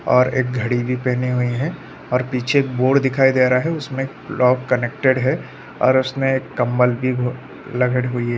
और एक घड़ी भी पहने हुए है और पीछे एक बोर्ड दिखाई दे रहा है उसमे लॉक कनेक्टेड है और उसने एक कम्बल भी ल-लग रही है।